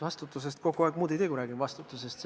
Ma muud ei teegi, kui räägin vastutusest.